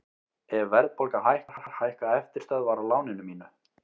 Ef verðbólga hækkar hækka eftirstöðvar á láninu mínu.